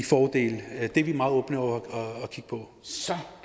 fordele det er vi meget åbne over for